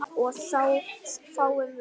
og þá fáum við